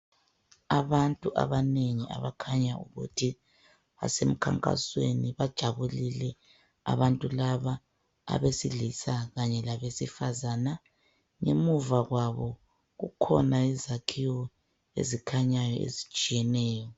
Abantu abanengi abakhanya ukuthi basemkhankasweni. Bajabulile abantu laba, abesilisa kanye labesifazana. Ngemuva kwabo kukhona izakhiwo ezikhanyayo ezitshiyeneyo.